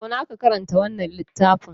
Zauna ka karanta wannan littafin!